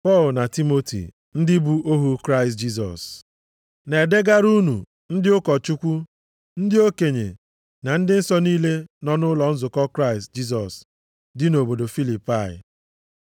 Pọl na Timoti, ndị bụ ohu Kraịst Jisọs, Na-edegara unu ndị ụkọchukwu, ndị okenye + 1:1 Ndị okenye ndị a na-ekwu nʼebe bụ ndị ahọpụtara ka ha na-eje ozi nʼokpuru ụkọchukwu maọbụ onye nlekọta nzukọ. na ndị nsọ niile nọ nʼụlọ nzukọ Kraịst Jisọs dị nʼobodo Filipai.